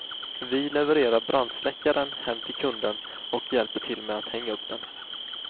Vi levererar brandsläckaren hem till kunden och hjälper till med att hänga upp den.